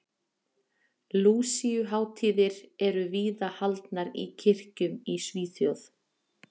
Lúsíuhátíðir eru víða haldnar í kirkjum í Svíþjóð.